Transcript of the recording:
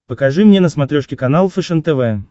покажи мне на смотрешке канал фэшен тв